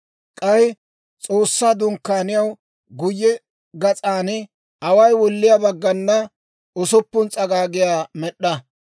K'ay S'oossaa Dunkkaaniyaw guyye gas'an away wulliyaa baggana usuppun s'agaagiyaa med'd'a.